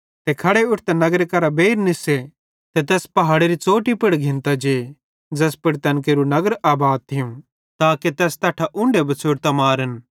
ते खड़े उट्ठतां तैस नगर करां बेइर निस्से ते तै तैस पहाड़ेरी च़ौटी पुड़ घिन्तां जे ज़ैस पुड़ तैन केरू नगर आबाद थियूं ताके तैस तैट्ठां उन्ढे बछ़ोड़तां मारन